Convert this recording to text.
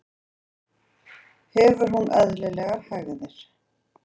Hefur hún eðlilegar hægðir?